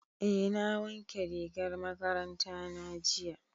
Eh na wanke rigar makaranta na jiya.